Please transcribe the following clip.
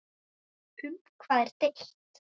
Um hvað er deilt?